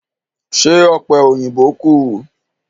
Ṣé ọ̀pẹ̀ òyìnbó kù?